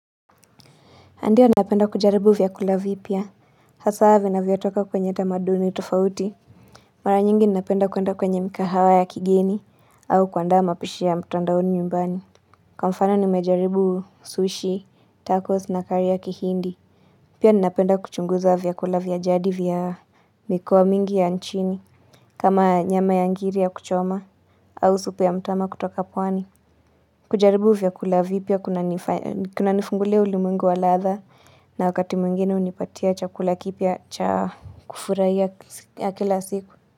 Ndiyo napenda kujaribu vyakula vipya. Hasa vinavyotoka kwenye tamaduni tofauti. Mara nyingi napenda kuenda kwenye mikahawa ya kigeni. Au kuandaa mapishi ya mtandaoni nyumbani. Kwa mfano nimejaribu sushi, tacos na kari ya kihindi. Pia ninapenda kuchunguza vyakula vya jadi vya mikoa mingi ya nchini. Kama nyama ya ngiri ya kuchoma. Au supu ya mtama kutoka pwani. Kujaribu vyakula vipya kunanifungulia ulimwengu wa ladha. Na wakati mwengine hunipatia chakula kipya cha kufurahia ya kila siku.